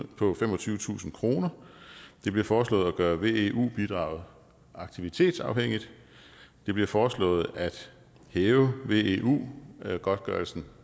på femogtyvetusind kroner det bliver foreslået at gøre veu bidraget aktivitetsafhængigt det bliver foreslået at hæve veu godtgørelsen